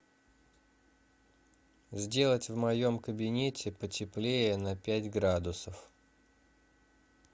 сделать в моем кабинете потеплее на пять градусов